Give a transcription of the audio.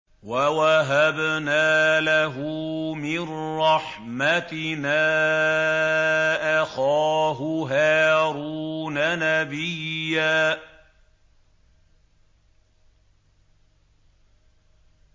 وَوَهَبْنَا لَهُ مِن رَّحْمَتِنَا أَخَاهُ هَارُونَ نَبِيًّا